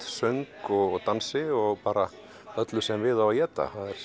söng og dansi og bara öllu sem við á að éta það